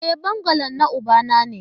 E, bungalow na ubana ne